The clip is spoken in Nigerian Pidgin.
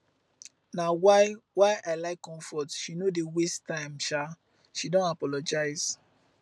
na why why i like comfort she no dey waste time um she don apologise